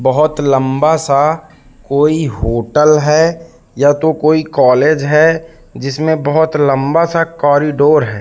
बहुत लंबा सा कोई होटल है या तो कोई कॉलेज है जिसमें बहुत लंबा कॉरिडोर है।